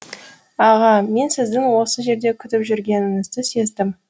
аға мен сіздің осы жерде күтіп жүргеніңізді сездім